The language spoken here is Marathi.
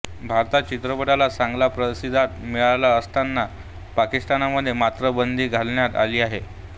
भारतात चित्रपटाला चांगला प्रतिसाद मिळत असताना पाकिस्तानमध्ये मात्र बंदी घालण्यात आली आहे